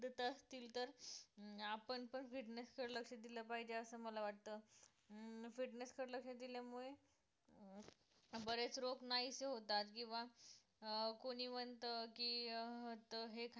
तसं असतील तर आपण पण fitness कडे लक्ष दिलं पाहिजे असं मला वाटतं अं fitness कडे लक्ष दिल्यामुळे अं बरेच रोग नाहीसे होतात किंवा अं कोणी म्हणतं की अं तर हे